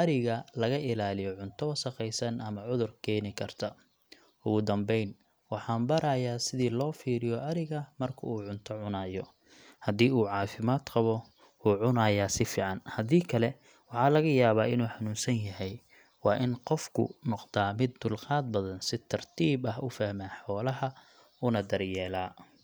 ariga laga ilaaliyo cunto wasakhaysan ama cudur keeni karta. Ugu dambeyn, waxaan barayaa sida loo fiiriyo ariga marka uu cunto cunayo haddii uu caafimaad qabo, wuu cunayaa si fiican; haddii kale, waxaa laga yaabaa inuu xanuunsan yahay. Waa in qofku noqdaa mid dulqaad badan, si tartiib ah u fahma xoolaha, una daryeela.